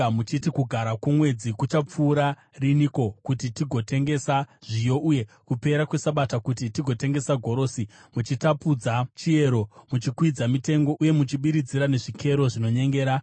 muchiti, “Kugara kwoMwedzi kuchapfuura riniko kuti tigotengesa zviyo, uye kupera kweSabata kuti tigotengesa gorosi?” muchitapudza chiero, muchikwidza mitengo uye muchibiridzira nezvikero zvinonyengera,